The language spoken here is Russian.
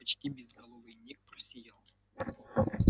почти безголовый ник просиял